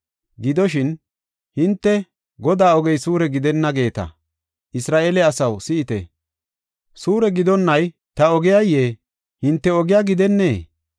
Gidoshin, “Hinte, ‘Godaa ogey suure gidenna’ geeta. Isra7eele asaw, si7ite; suure gidonnay ta ogiyayee? Hinte ogiya gidennee?